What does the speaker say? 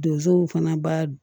Donsow fana b'a